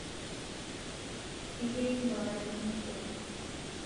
ekirik mpapa lino sukuul